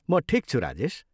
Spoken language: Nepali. म ठिक छु, राजेश।